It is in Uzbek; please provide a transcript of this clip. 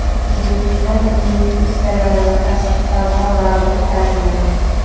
O‘zbekiston investitsiyalar va tashqi savdo vaziri tayinlandi.